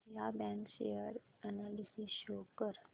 Vijaya bank share analysis show कर